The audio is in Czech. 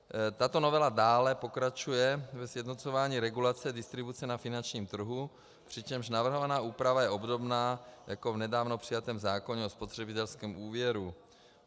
Tato novela dále pokračuje ve sjednocování regulace distribuce na finančním trhu, přičemž navrhovaná úprava je obdobná jako v nedávno přijatém zákoně o spotřebitelském úvěru.